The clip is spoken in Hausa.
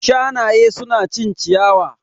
Shanaye su na cin ciyawa